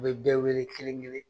U bɛ bɛɛ wele kelen kelen